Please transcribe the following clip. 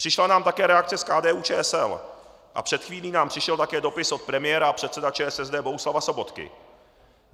Přišla nám také reakce z KDU-ČSL a před chvílí nám přišel také dopis od premiéra a předsedy ČSSD Bohuslava Sobotky.